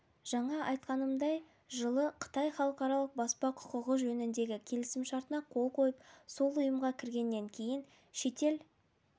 жаңа айтқанымдай жылы қытай халықаралық баспа құқығы жөніндегі келісімшартына қол қойып сол ұйымға кіргеннен кейін шетел